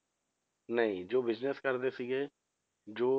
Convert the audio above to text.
ਨਹੀਂ ਜੋ business ਕਰਦੇ ਸੀਗੇ ਜੋ